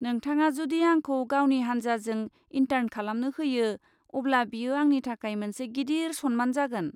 नोंथाङा जुदि आंखौ गावनि हानजाजों इन्टार्न खालामनो होयो अब्ला बेयो आंनि थाखाय मोनसे गिदिर सनमान जागोन।